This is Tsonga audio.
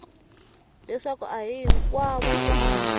leswaku a hi hinkwavo vana